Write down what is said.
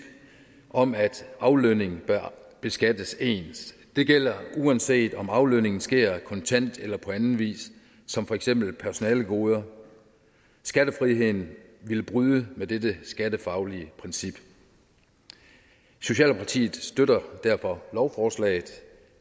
om at aflønning bør beskattes ens det gælder uanset om aflønningen sker kontant eller på anden vis som for eksempel personalegoder skattefriheden ville bryde med dette skattefaglige princip socialdemokratiet støtter derfor lovforslaget